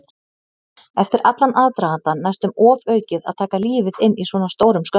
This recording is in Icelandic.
Eftir allan aðdragandann næstum ofaukið að taka lífið inn í svona stórum skömmtum.